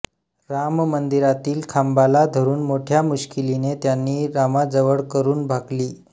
राममंदिरातील खांबाला धरून मोठ्या मुश्किलीने त्यांनी रामाजवळ करून भाकली